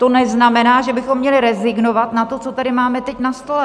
To neznamená, že bychom měli rezignovat na to, co tady máme teď na stole.